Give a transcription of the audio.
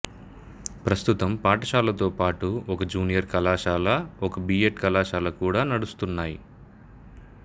ప్రస్తుతం పాఠశాలతోపాటు ఒక జూనియర్ కళాశాల ఒక బి ఎడ్ కళాశాల కూడా నడుస్తున్నాయి